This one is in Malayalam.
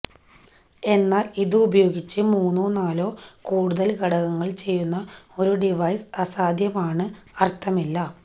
എന്നാൽ ഇത് ഉപയോഗിച്ച് മൂന്നോ നാലോ കൂടുതൽ ഘടകങ്ങൾ ചെയ്യുന്ന ഒരു ഡിവൈസ് അസാധ്യമാണ് അർത്ഥമില്ല